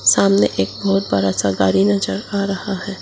सामने एक बहोत बड़ा सा गाड़ी नजर आ रहा है।